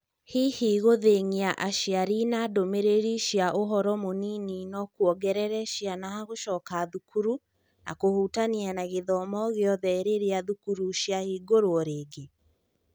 Hihi gũthĩng'a aciari na ndũmĩrĩri cia ũhoro mũnini no-kuongerere ciana gũcoka thukuru na kũhutania na gĩthomo gĩothe rĩrĩa thukuru ciahingũrũo rĩngĩ?